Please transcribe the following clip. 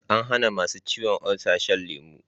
An hana masu ciwon olsa shan lemu